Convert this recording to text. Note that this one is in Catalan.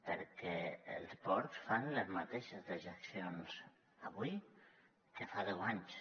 perquè els porcs fan les mateixes dejeccions avui que fa deu anys